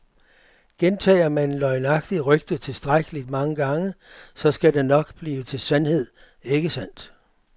Gentager man et løgnagtigt rygte tilstrækkeligt mange gange, så skal det nok blive til sandhed, ikke sandt.